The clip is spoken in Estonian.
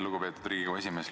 Lugupeetud Riigikogu esimees!